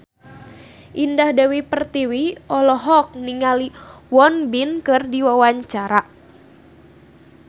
Indah Dewi Pertiwi olohok ningali Won Bin keur diwawancara